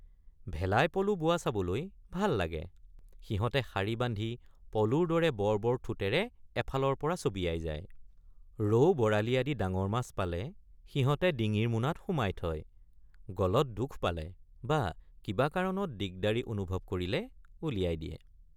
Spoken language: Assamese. ভেলাই পলো বোৱা চাবলৈ ভাল লাগে ৷ সিহঁতে শাৰী বান্ধি পলোৰ দৰে বৰ বৰ ঠোটেৰে এফালৰপৰ৷ চবিয়াই যায় ৷ ৰৌবৰালী আদি ডাঙৰ মাছ পালে সিহঁতে ডিঙিৰ মোনাত সুমাই থয়—গলত দুখ পালে বা কিবা কাৰণত দিগদাৰি অনুভৱ কৰিলে উলিয়াই দিয়ে।